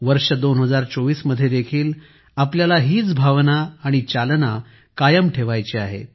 वर्ष 2024 मध्ये देखील आपल्याला हीच भावना आणि चालना कायम ठेवायची आहे